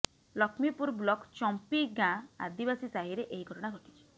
Lakshmipur block Champi ଗାଁ ଆଦିବାସୀ ସାହିରେ ଏହି ଘଟଣା ଘଟିଛି